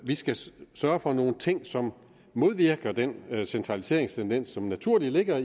vi skal sørge for nogle ting som modvirker den centraliseringstendens som naturligt ligger